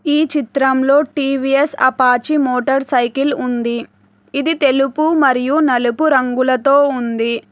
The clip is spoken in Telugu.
ఈ చిత్రంలో టీ_వీ_ఎస్ అపాచీ మోటార్ సైకిల్ ఉంది ఇది తెలుపు మరియు నలుపు రంగులతో ఉంది.